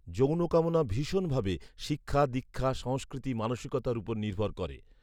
যৌনকামনা ভীষন ভাবে শিক্ষা দীক্ষা , সংস্কৃতি, মানসিকতার উপর নির্ভর করে